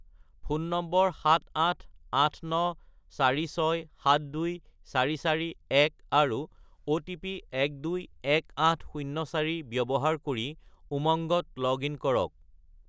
Phone নম্বৰ 78894672441 আৰু OTP 121804 ব্যৱহাৰ কৰি উমংগত লগ-ইন কৰক।